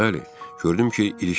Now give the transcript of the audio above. Bəli, gördüm ki, ilişmişəm.